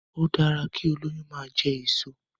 Ó dára kí olóyún máa jẹ èso.